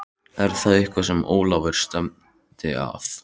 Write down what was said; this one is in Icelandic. Er það eitthvað sem Ólafur stefnir að?